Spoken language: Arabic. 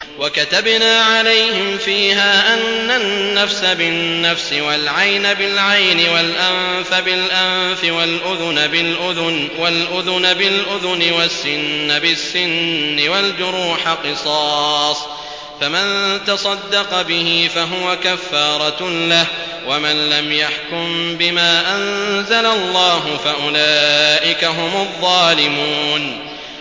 وَكَتَبْنَا عَلَيْهِمْ فِيهَا أَنَّ النَّفْسَ بِالنَّفْسِ وَالْعَيْنَ بِالْعَيْنِ وَالْأَنفَ بِالْأَنفِ وَالْأُذُنَ بِالْأُذُنِ وَالسِّنَّ بِالسِّنِّ وَالْجُرُوحَ قِصَاصٌ ۚ فَمَن تَصَدَّقَ بِهِ فَهُوَ كَفَّارَةٌ لَّهُ ۚ وَمَن لَّمْ يَحْكُم بِمَا أَنزَلَ اللَّهُ فَأُولَٰئِكَ هُمُ الظَّالِمُونَ